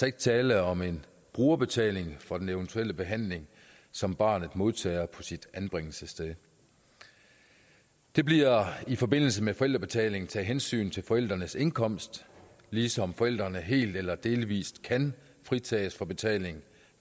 ikke tale om en brugerbetaling for den eventuelle behandling som barnet modtager på sit anbringelsessted der bliver i forbindelse med forældrebetaling taget hensyn til forældrenes indkomst ligesom forældrene helt eller delvis kan fritages for betalingen